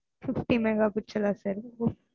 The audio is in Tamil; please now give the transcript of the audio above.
fifty mega pixel ah sir